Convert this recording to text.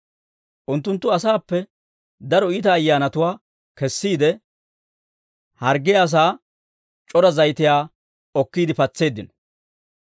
Unttunttu asaappe daro iita ayyaanatuwaa kessiide, harggiyaa asaa c'ora zayitiyaa okkiide patseeddino.